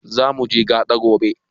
Zamuje gaɗa gobe?